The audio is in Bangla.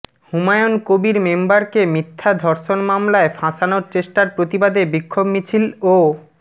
হুমায়ূন কবির মেম্বারকে মিথ্যা ধর্ষণ মামলায় ফাঁসানোর চেষ্টার প্রতিবাদে বিক্ষোভ মিছিল ও